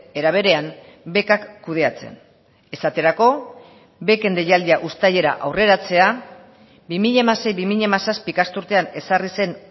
era berean bekak kudeatzen esaterako beken deialdia uztailera aurreratzea bi mila hamasei bi mila hamazazpi ikasturtean ezarri zen